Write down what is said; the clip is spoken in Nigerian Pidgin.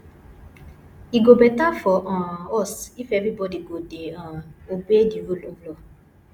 e go beta for um us if everybody go dey um obey the rule of law